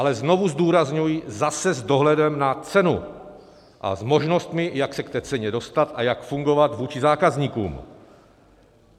Ale znovu zdůrazňuji, zase s dohledem na cenu a s možnostmi, jak se k té ceně dostat a jak fungovat vůči zákazníkům.